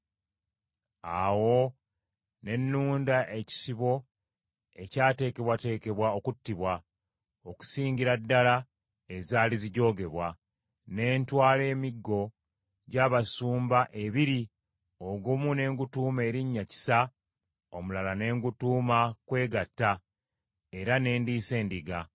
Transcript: Awo ne nunda ekisibo ekyateekebwateekebwa okuttibwa, okusingira ddala ezaali zijoogebwa. Ne ntwala emiggo gy’abasumba ebiri, ogumu ne ngutuuma erinnya Kisa, omulala ne ngutuuma Kwegatta era ne ndiisa endiga.